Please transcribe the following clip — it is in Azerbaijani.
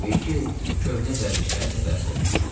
Təbii ki, köhnə vərdişləri də bərpa olunmuşdu.